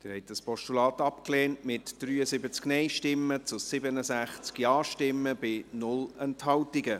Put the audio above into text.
Sie haben das Postulat abgelehnt, mit 73 Nein- zu 67 Ja-Stimmen bei 0 Enthaltungen.